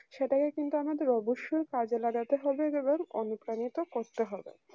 সেটাকে কিন্তু আমাদের অবশ্যই কাজে লাগাতে হবে যেমন অনুপ্রাণিত করতে হবে